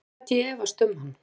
Hvernig gæti ég efast um hann?